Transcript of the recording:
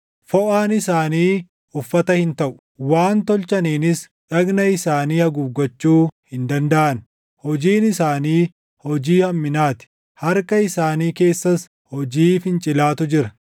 Foʼaan isaanii uffata hin taʼu; waan tolchaniinis dhagna isaanii haguuggachuu hin dandaʼan. Hojiin isaanii hojii hamminaa ti; harka isaanii keessas hojii fincilaatu jira.